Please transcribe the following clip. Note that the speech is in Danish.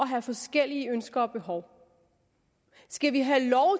have forskellige ønsker og behov skal vi have lov